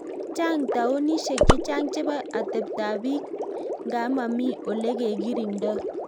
Chang taunosiek chechang chepo ateptoop pik ngaa mamii olegekirindoi